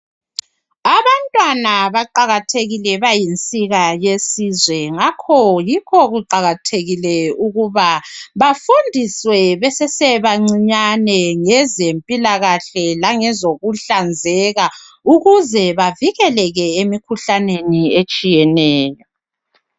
Abantwana baqajathekile. Bayinsika yesizwe. Ngakho yikho kuqakathekike ukubai bafundiswe besesebancinyane ngezempilakahle, langezokuhlanzeka. Ukuze bavikeleke emikhuhlaneni etshiyeneyo,